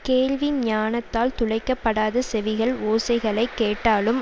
கேள்வி ஞானத்தால் துளைக்க படாத செவிகள் ஓசைகளை கேட்டாலும்